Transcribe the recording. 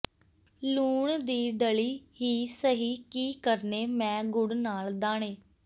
ਲੂਣ ਦੀ ਡਲੀ ਹੀ ਸਹੀ ਕੀ ਕਰਨੇ ਮੈਂ ਗੁੜ ਨਾਲ ਦਾਣੇ